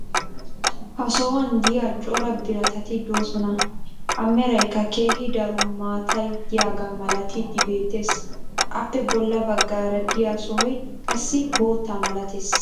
ha sohuwan diya cora biratatti doosona. a meraykka keehi daro maatay diyaaga malattidi beetees. appe bolla baggaara diya sohoy qassi bootta malatees.